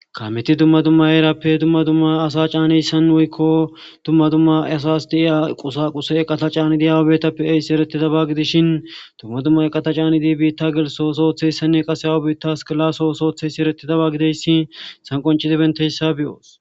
Kamet dumma dumma herappe asa caniyaysan woykko dumma dumma asas diya qusa quse eqata caniyays eretidaba gidishn ha dumma dumma eqata canid bita gelisos ootiyaysa qaseka awa bita asaka laso oso otes .